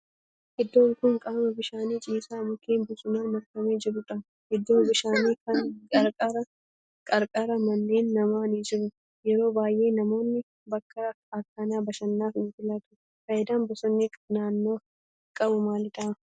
Iddoon kun qaama bishaanii ciisaa mukkeen bosonaan marfamee jirudha. Iddoo bishaani kana qarqara manneen namaa ni jiru. Yeroo baayyee namoonni bakka akkanaa bashannanaaf ni filatu. Faayidaan bosonni naannoof qabu maalidha?